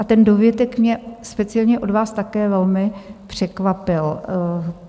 A ten dovětek mě speciálně od vás také velmi překvapil.